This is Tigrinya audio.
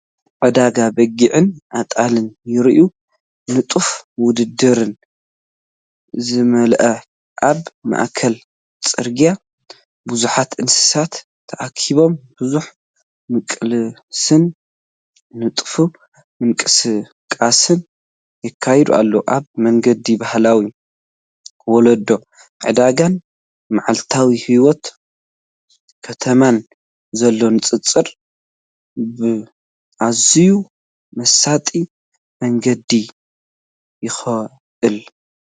ዕዳጋ በጊዕን ኣጣልን ይረአ፣ ንጡፍ ውድድር ዝመልአ። ኣብ ማእከል ጽርግያ ብዙሓት እንስሳታት ተኣኪቦም ብዙሕ ምቅላስን ንጡፍ ምንቅስቓስን ይካየድ ኣሎ። ኣብ መንጎ ባህላዊ ወለዶ ዕዳጋን መዓልታዊ ህይወት ከተማን ዘሎ ንጽጽር ብኣዝዩ መሳጢ መንገዲ ይውክል።